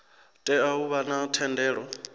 tea u vha na thendelo